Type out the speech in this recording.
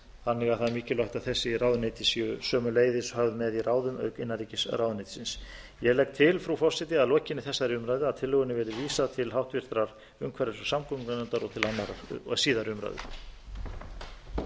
þannig að það er mikilvægt að þessi ráðuneyti séu sömuleiðis höfð með í ráðum auk innanríkisráðuneytisins ég legg til frú forseti að lokinni þessari umræða að tillögunni verði vísað til háttvirtrar umhverfis og samgöngunefndar og til síðari umræðu